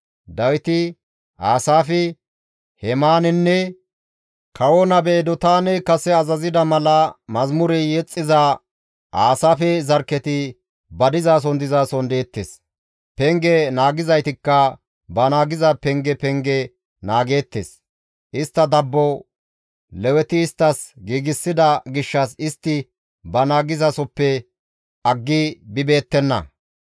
Dawiti, Asaafi, Hemaaninne kawo nabe Edotaaney kase azazida mala mazamure yexxiza Aasaafe zarkketi ba dizason dizason deettes; Penge naagizaytikka ba naagiza penge penge naageettes; istta dabbo, Leweti isttas giigsida gishshas istti ba naagizasoppe aggi bibeettenna.